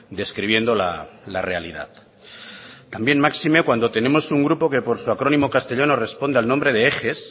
describiendo la realidad también máxime cuando tenemos un grupo que por su acrónimo castellano responde al nombre de eges